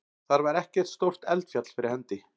Þar var ekkert stórt eldfjall fyrir hendi.